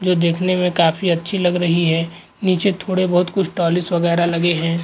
जो देखने में काफी अच्छी लग रही हे । नीचे थोड़े बहुत कुछ वगेरा लगे हैं।